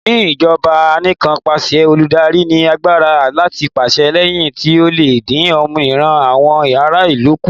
Ní ìjọba Anìkanpàṣẹ, olùdarí ní agbára láti pàṣẹ èyí tí ó lè dín òmìnira àwọn ará ìlú kù.